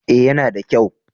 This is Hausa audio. Eh ya na da kyau